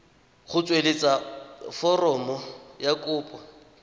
go tsweletsa foromo ya kopo